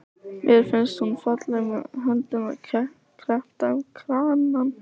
Mér finnst hún falleg með höndina kreppta um kranann.